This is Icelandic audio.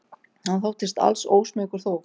Hann þóttist alls ósmeykur þó.